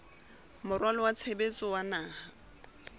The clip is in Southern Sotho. moralo wa tshebetso wa naha